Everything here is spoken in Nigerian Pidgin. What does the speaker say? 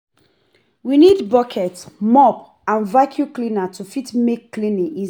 We need bucket, mop and vaccum cleaner to fit make cleaning easy